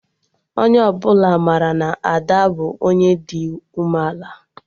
Onye ọbụla mara na Ada bụ Onye dị ume ala